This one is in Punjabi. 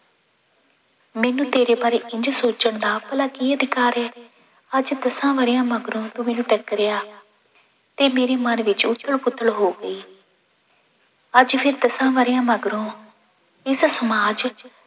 ਮੈਨੂੰ ਤੇਰੇ ਬਾਰੇ ਇੰਞ ਸੋਚਣ ਦਾ ਭਲਾ ਕੀ ਅਧਿਕਾਰ ਹੈ, ਅੱਜ ਦਸਾਂ ਵਰ੍ਹਿਆਂ ਮਗਰੋਂ ਤੂੰ ਮੈਨੂੰ ਟੱਕਰਿਆ ਤੇ ਮੇਰੇ ਮਨ ਵਿੱਚ ਉੱਥਲ ਪੁੱਥਲ ਹੋ ਗਈ ਅੱਜ ਫਿਰ ਦਸਾਂ ਵਰ੍ਹਿਆਂ ਮਗਰੋਂ ਇਸ ਸਮਾਜ